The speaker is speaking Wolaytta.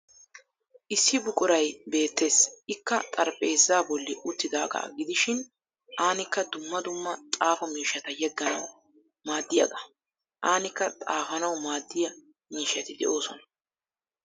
Issi buquray beettes ikka xarphpheezza bolli uttidagaa gidishin anikka dumma dumma xaafo miishshata yegganawu maaddiyaagaa. Anikka xafanawu maaddiya miishshati de'oosona.